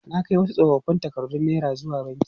Na kai wasu tsofoffin takardun naira zuwa banki.